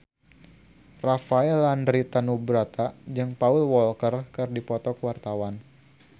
Rafael Landry Tanubrata jeung Paul Walker keur dipoto ku wartawan